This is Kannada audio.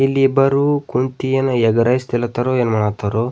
ಇಲ್ಲಿ ಇಬ್ಬರು ಕುಂತಿ ಏನ್ ಎಗ್ಗ್ ರೈಸ್ ತಿಲ್ಲಾತಾರೋ ಏನ್ ಮಾಡಾತಾರೋ?